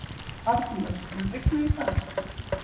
Arnlaug, mun rigna í dag?